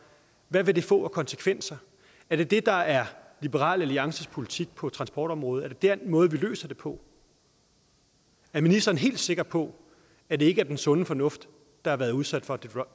hvad vil det få af konsekvenser er det det der er liberal alliances politik på transportområdet er det den måde vi løser det på er ministeren helt sikker på at det ikke er den sunde fornuft der har været udsat for